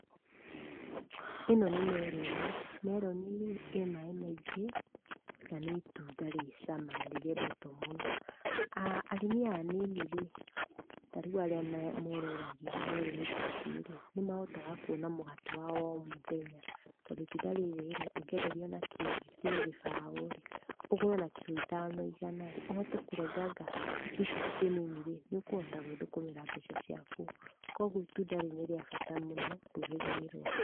Ĩno nĩ meroni. Meroni-rĩ, ĩ maĩ maingĩ, na nĩ itunda rĩ cama na nĩrĩendetũo mũno. Arĩmi aya anini-rĩ, tarĩu arĩa morũragia meroni ta ici-rĩ, nĩmahotaga kuona mũgate wa o mũthenya. Tondũ itunda rĩrĩ-rĩ, ũngĩenderio na kiro-rĩ, kiro gĩbaũ-rĩ, ũgũre ona kiro ithano igana-rĩ, ũhote kũrenganga tũ pieces tũnini-rĩ, nĩũkũhota gũĩthũkũmĩra mbeca ciaku. Kuoguo itunda rĩrĩ nĩ rĩa bata mũno rũrĩrĩ-inĩ rũa